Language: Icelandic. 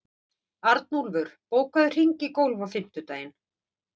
Arnúlfur, bókaðu hring í golf á fimmtudaginn.